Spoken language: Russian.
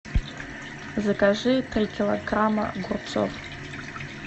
закажи три килограмма огурцов